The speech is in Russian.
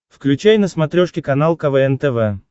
включай на смотрешке канал квн тв